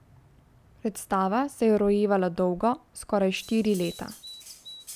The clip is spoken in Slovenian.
Predstava se je rojevala dolgo, skoraj štiri leta.